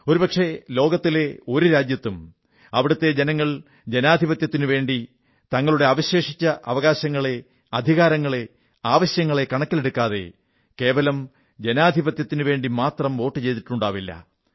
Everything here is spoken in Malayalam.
ഒരുപക്ഷേ ലോകത്തിലെ ഒരു രാജ്യത്തും അവിടത്തെ ജനങ്ങൾ ജനാധിപത്യത്തിനുവേണ്ടി തങ്ങളുടെ അവശേഷിച്ച അവകാശങ്ങളെ അധികാരങ്ങളെ ആവശ്യങ്ങളെ കണക്കിലെടുക്കാതെ കേവലം ജനാധിപത്യത്തിനുവേണ്ടി മാത്രം വോട്ടു ചെയ്തിട്ടുണ്ടാവില്ല